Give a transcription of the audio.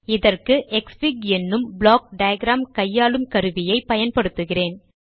இதற்குத் 160 க்ஸ்ஃபிக் என்னும் block diagram கையாளும் கருவியை பயன்படுத்துகிறேன்